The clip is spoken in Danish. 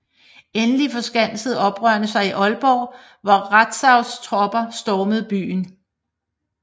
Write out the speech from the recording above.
Endelig forskansede oprørerne sig i Aalborg hvor Rantzaus tropper stormede byen